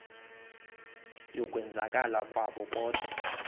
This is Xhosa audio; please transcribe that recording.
yokwenzakala kwabo kodwa